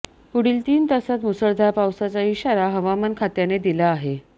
पुढील तीन तासात मुसळधार पावसाचा इशारा हवामान खात्याने दिला आहे